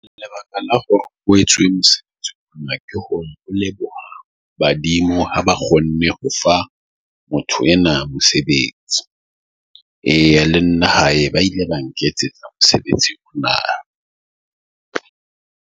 Lebaka la ho etswe mosebetsi leboha badimo ha ba kgonne ho fa motho ena mosebetsi. Eya, le nna hae ba ile ba nketsetsa mosebetsi .